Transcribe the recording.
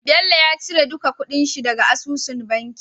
Bello ya cire duka kuɗin shi daka asusun banki